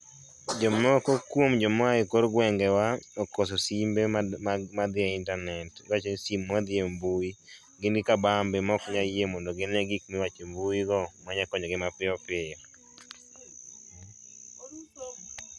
Jomoko kuom joma aye kor gwenge wa okoso simbe madhiye internet, iwachoni sim madhiye mbui. Gin gi kabambe maok nyal yie gine gik miwacho e mbui go manya konyogi piyo piyo